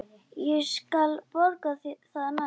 Ég skal borga það næst.